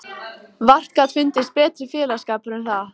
Vart gat fundist betri félagsskapur en það.